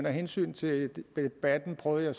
hensyn til debatten prøvede